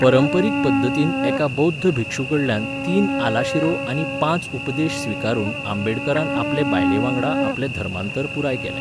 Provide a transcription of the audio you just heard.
परंपरीक पद्दतीन एका बौध्द भिक्षूकडल्यान तीन आलाशिरो आनी पांच उपदेश स्विकारून आंबेडकारान आपले बायलेवांगडा आपलें धर्मांतर पुराय केलें.